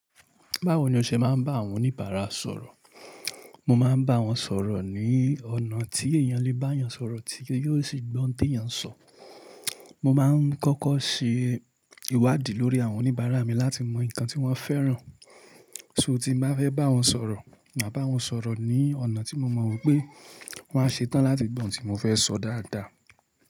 Báwo ni o ṣe máa ń bá àwọn oníbàárà sọ̀rọ̀? Mo máa ń bá wọn sọ̀rọ̀ ní ọ̀nà tí èèyàn lè bá èèyàn sọ̀rọ̀ tí yóò sì gbọ́n tí èèyàn ń sọ. Mo máa ń kọ́kọ́ ṣe ìwádìí lórí àwọn oníbàárà mi láti mọ nǹkan tí wọ́n fẹ́ràn. So tí n bá fẹ́ bá wọn sọ̀rọ̀, màá bá wọn sọ̀rọ̀ ní ọ̀nà tí mo mọ wípé wọn a ṣe tán láti gbọ́ oun tí mo fẹ́ sọ dáadáa.